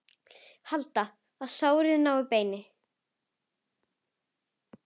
Halda, að sárið nái beini.